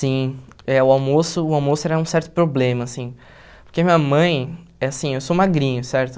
Sim, eh o almoço o almoço era um certo problema, assim, porque minha mãe, assim, eu sou magrinho, certo?